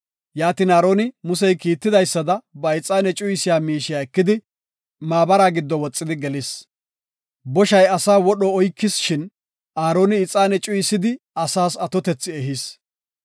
Yaatin Aaroni, Musey kiitidaysada ba ixaane cuyisiya miishiya ekidi maabara giddo woxidi gelis. Boshay asaa wodho oykis shin, Aaroni ixaane cuyisidi asaas atotethi ehis.